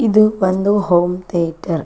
ಇದು ಒಂದು home theatre .